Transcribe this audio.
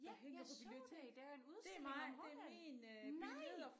Ja jeg så det der er en udstilling om Holland nej